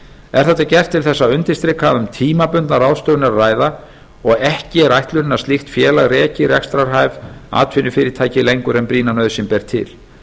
er þetta gert til þess að undirstrika að um tímabundna ráðstöfun er að ræða og ekki er ætlunin að slíkt félag reki rekstrarhæf atvinnufyrirtæki lengur en brýna nauðsyn ber til